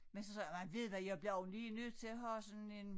Men så sagde jeg nej ved hvad jeg bliver også lige nødt til at have sådan en